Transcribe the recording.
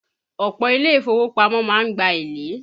Ọ̀pọ̀ Ilé ìfowópamọ́ má ń gba èlé